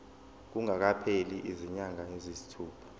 kungakapheli izinyanga eziyisithupha